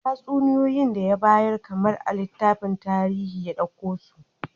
Tatsuniyoyi da ya bayar kamar a littafin tarihi ya dauko su